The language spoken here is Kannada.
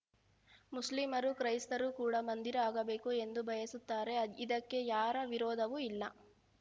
ಮುಸ್ಲಿಮರು ಕ್ರೈಸ್ತರು ಕೂಡ ಮಂದಿರ ಆಗಬೇಕು ಎಂದು ಬಯಸುತ್ತಾರೆ ಇದಕ್ಕೆ ಯಾರ ವಿರೋಧವೂ ಇಲ್ಲ